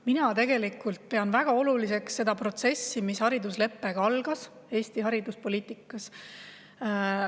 Ma pean väga oluliseks seda protsessi, mis haridusleppega Eesti hariduspoliitikas algas.